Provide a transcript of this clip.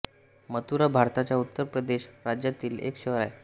मथुरा भारताच्या उत्तर प्रदेश राज्यातील एक शहर आहे